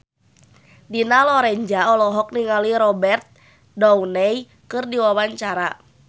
Dina Lorenza olohok ningali Robert Downey keur diwawancara